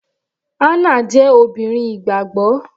Hannah jẹ́ obìnrin ìgbàgbọ́.